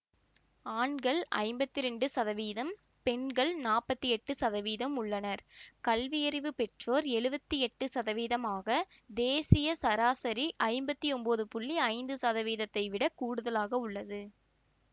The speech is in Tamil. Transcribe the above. ஆண்கள் ஐம்பத்தி இரண்டு சதவீதம் பெண்கள் நாற்பத்தி எட்டு சதவீதம் உள்ளனர் கல்வியறிவு பெற்றோர் எழுவத்தி எட்டு சதவீதம் ஆகத் தேசிய சராசரி ஐம்பத்தி ஒன்பது புள்ளி ஐந்து சதவீதத்தை விடக் கூடுதலாக உள்ளது